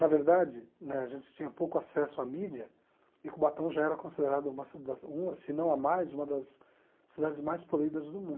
Na verdade, né, a gente tinha pouco acesso à mídia e Cubatão já era considerada uma cida, uma se não a mais, uma das cidades mais polidas do mundo.